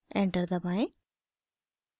enter दबाएं